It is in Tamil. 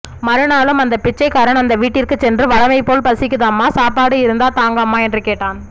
மறுநாளும் அந்த பிச்சைக்காறன் அந்த வீட்டிற்குச் சென்று வழமைபோல் பசிக்குதம்மா சாப்பாடு இருந்தா தாங்கம்மா என்று கேட்டான்